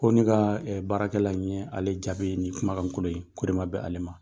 K'olu ka baarakɛla ni ye ale jaabi nin kumakankolo ye, k'o de ma bɛ ale ma.